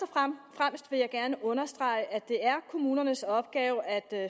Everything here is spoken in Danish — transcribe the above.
fremmest vil jeg gerne understrege at det er kommunernes opgave at